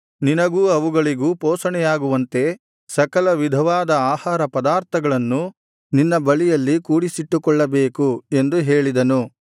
ನಿನಗೂ ಅವುಗಳಿಗೂ ಪೋಷಣೆಯಾಗುವಂತೆ ಸಕಲ ವಿಧವಾದ ಆಹಾರ ಪದಾರ್ಥಗಳನ್ನು ನಿನ್ನ ಬಳಿಯಲ್ಲಿ ಕೂಡಿಸಿಟ್ಟುಕೊಳ್ಳಬೇಕು ಎಂದು ಹೇಳಿದನು